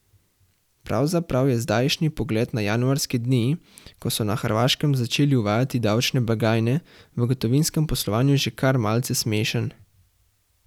Pravzaprav je zdajšnji pogled na januarske dni, ko so na Hrvaškem začeli uvajati davčne blagajne v gotovinskem poslovanju že kar malce smešen.